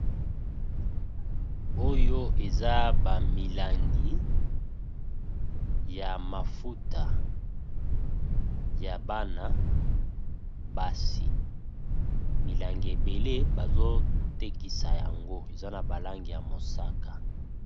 Oyo eza ba milangi ya mafuta ya bana basi, milangi ebele bazo tekisa yango eza na ba langi ya mosaka.